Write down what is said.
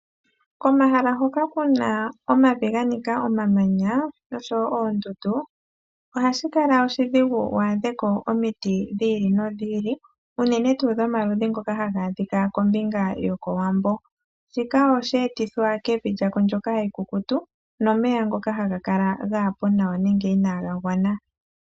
Komahala hoka ku na omavi ga nika omamanya noshowo oondundu ohashi kala oshidhigu wu adhe ko omiti dhi ili nodhi ili unene tuu dhomaludhi ngoka haga adhika kombinga yokOwambo. Shika oshe etithwa kevi lyako ndyoka ekukutu nomeya ngoka haga kala gaa po nawa nenge inaaga gwana.